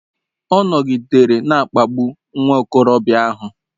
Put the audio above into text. Ọ nọgidere na-akpagbu nwa okorobịa ahụ.